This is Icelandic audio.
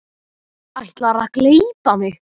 Ætlarðu að gleypa mig!